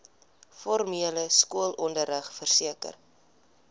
formele skoolonderrig verseker